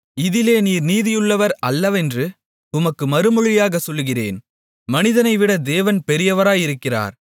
இதிலே நீர் நீதியுள்ளவர் அல்லவென்று உமக்கு மறுமொழியாகச் சொல்லுகிறேன் மனிதனைவிட தேவன் பெரியவராயிருக்கிறார்